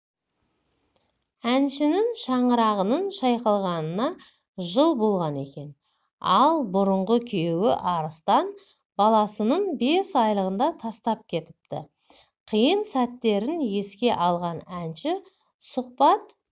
әншінің шаңырағының шайқалғанына жыл болған екен ал бұрыңғы күйеуі арыстан баласының бес айлығында тастап кетіпті қиын сәттерін еске алған әнші сұқбат